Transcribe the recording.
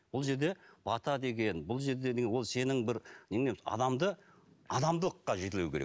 бұл жерде бата деген бұл жерде ол сенің бір адамды адамдылыққа жетелеу керек